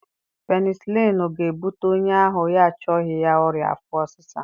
Penisịlinụ ga-ebute onye ahụ ya achọghị ya ọrịa afọ ọsịsa